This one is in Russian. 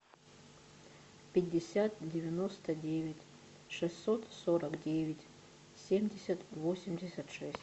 пятьдесят девяносто девять шестьсот сорок девять семьдесят восемьдесят шесть